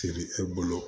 Feere e bolo